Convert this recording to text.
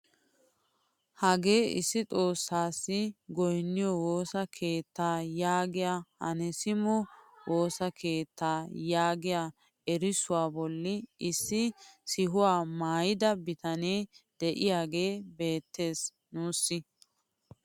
Hagee issi xoossasi goyniyoo woossa keettaa yaagiyaa anaasimos woossa keettaa yaagiyaa erissuwaa bolli issi sihuwaa maayida bitanee de'iyaagee beettees nuusi.